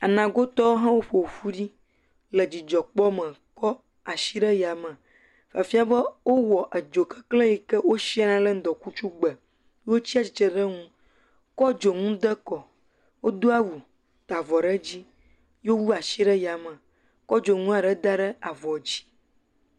Anagotɔwo hã woƒoƒu ɖi le dzidzɔkpɔ me kɔ asi ɖe yame. Efia be wowɔ edzoka kple yi ke wosia ɖe ŋdɔkutsugbe. Wotsi atsitre ɖe ŋu kɔ dzou de kɔ, wodo awu ta avɔ ɖe edzi ye wowu asi ɖe yame kɔ dzdonu aɖe da ɖe avɔ dzi.